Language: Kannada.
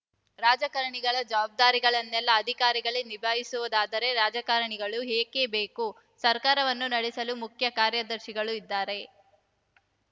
ರಾಜಕಾರಣಿಗಳ ಜವಾಬ್ದಾರಿಗಳನ್ನೆಲ್ಲಾ ಅಧಿಕಾರಿಗಳೇ ನಿಭಾಯಿಸುವುದಾದರೆ ರಾಜಕಾರಣಿಗಳು ಏಕೆ ಬೇಕು ಸರ್ಕಾರವನ್ನು ನಡೆಸಲು ಮುಖ್ಯ ಕಾರ್ಯದರ್ಶಿಗಳು ಇದ್ದಾರೆ